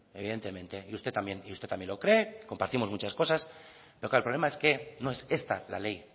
y usted también lo cree compartimos muchas cosas pero claro el problema es que no es esta la ley